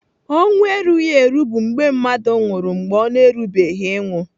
Ọnwụ erugheru bụ mgbe mmadụ nwụrụ mgbe ọ na-erubeghị ịnwụ.